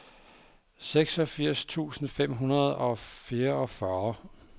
seksogfirs tusind fem hundrede og fireogfyrre